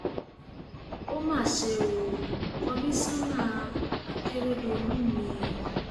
ó mà ṣe ò kọmíṣánná àkèrèdọlù mi